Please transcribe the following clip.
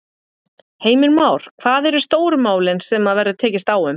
Heimir Már: Hvað eru stóru málin sem að verður tekist á um?